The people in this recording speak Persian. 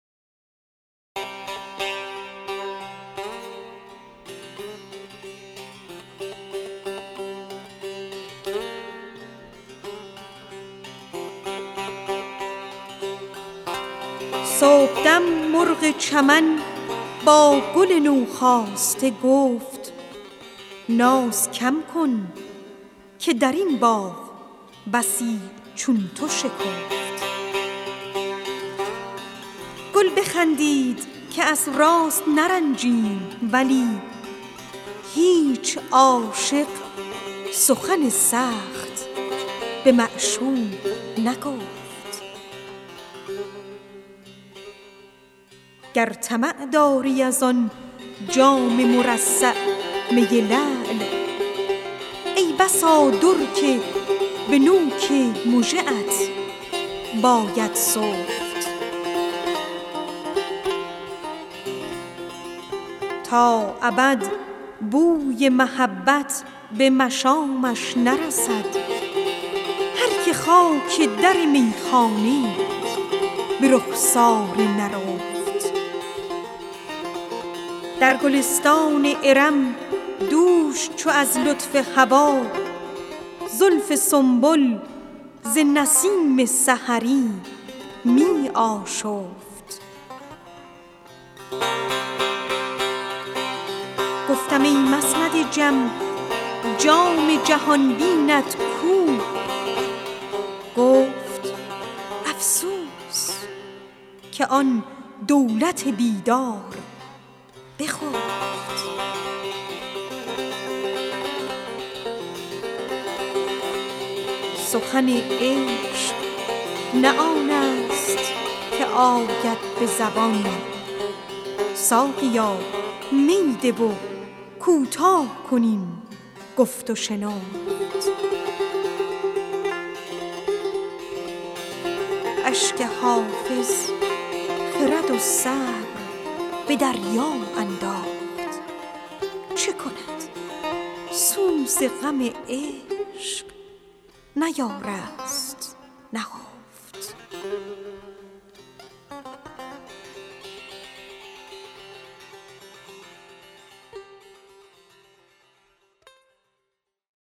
صبحدم مرغ چمن با گل نوخاسته گفت ناز کم کن که در این باغ بسی چون تو شکفت گل بخندید که از راست نرنجیم ولی هیچ عاشق سخن سخت به معشوق نگفت گر طمع داری از آن جام مرصع می لعل ای بسا در که به نوک مژه ات باید سفت تا ابد بوی محبت به مشامش نرسد هر که خاک در میخانه به رخسار نرفت در گلستان ارم دوش چو از لطف هوا زلف سنبل به نسیم سحری می آشفت گفتم ای مسند جم جام جهان بینت کو گفت افسوس که آن دولت بیدار بخفت سخن عشق نه آن است که آید به زبان ساقیا می ده و کوتاه کن این گفت و شنفت اشک حافظ خرد و صبر به دریا انداخت چه کند سوز غم عشق نیارست نهفت